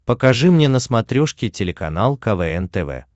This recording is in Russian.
покажи мне на смотрешке телеканал квн тв